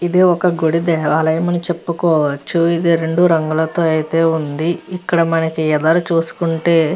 ఇది ఒక గుడి దేవాలయం అని చెప్పుకో వచ్చు ఇది రెండు రంగులతో ఉంది. ఇక్కడ మనకి ఎదురు చూసుకుంటే --